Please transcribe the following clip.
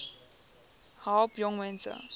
besp help jongmense